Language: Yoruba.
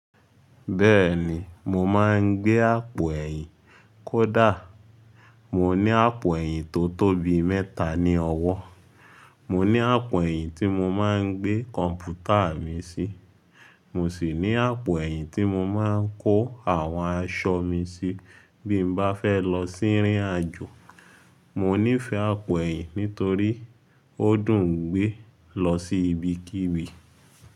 Bẹ́ẹ̀ni, mo máa ń gbé àpò ẹ̀yìn kó dà. Mo ní àpò ẹ̀yìn tó tóbi mẹ́ta ní ọwọ́. Mo ní àpò ẹ̀yìn tí mo máa ń gbé kọ̀ǹpútà mi sí. Mo sì ní àpò ẹ̀yìn tí mo máa ń kó àwọn aṣọ mi sí bí mo bá fẹ́ lọ sí ìrìnàjò. Mo nífẹ̀ẹ́ àpò ẹ̀yìn nítorí ó dùn ún gbé lọ sí ibikíbi.